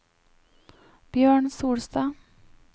Bjørn Solstad